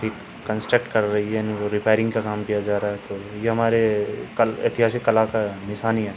एक कंस्ट्रक्ट कर रही है। रिपेयरिंग का काम किया जा रहा है। तो ये हमारे कल ऐतिहासिक कला का निशानी है।